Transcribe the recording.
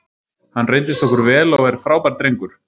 Hann reyndist okkur vel og er frábær drengur.